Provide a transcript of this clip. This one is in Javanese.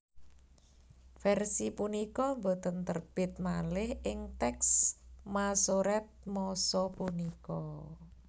Versi punika boten terbit malih ing teks Masoret masa punika